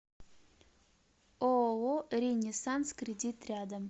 ооо ренессанс кредит рядом